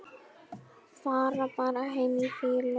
Fara bara heim í fýlu?